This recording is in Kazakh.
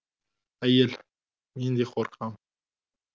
әйел мен де қорқам